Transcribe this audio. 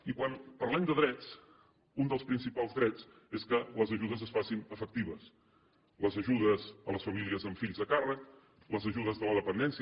i quan parlem de drets un dels principals drets és que les ajudes es facin efectives les ajudes a les famílies amb fills a càrrec les ajudes de la dependència